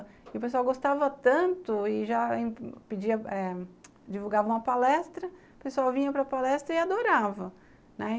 E o pessoal gostava tanto e já pedia eh, divulgava uma palestra, o pessoal vinha para a palestra e adorava, né.